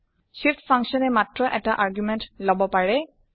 Shift function এ মাত্ৰ এটা আৰ্গুমেণ্ট লব পাৰে